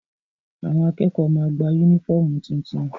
Àwọn akẹ́kọ̀ọ́ ma gba yúnífọ̀mù tuntun